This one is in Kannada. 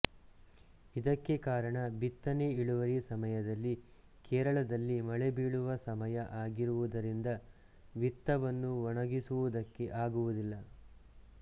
ಇದಕ್ಕೆ ಕಾರಣ ಬಿತ್ತನೆ ಇಳುವರಿ ಸಮಯದಲ್ಲಿ ಕೇರಳದಲ್ಲಿ ಮಳೆ ಬಿಳುವ ಸಮಯ ಆಗಿರುವುದರಿಂದ ವಿತ್ತವನ್ನು ಒಣಗಿಸುವುದಕ್ಕೆ ಆಗುವುದಿಲ್ಲ